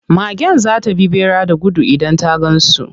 Magen za ta bi ɓera da gudu idan ta gan su.